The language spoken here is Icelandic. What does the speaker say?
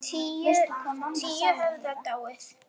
Tíu höfðu dáið.